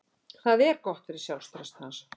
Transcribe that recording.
Það er gott fyrir sjálfstraust hans.